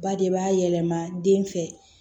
Ba de b'a yɛlɛma den fɛ